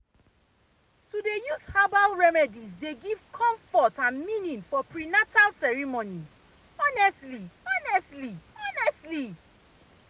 to dey use herbal remedies dey give comfort and meaning for prenatal ceremonies honestly honestly honestly.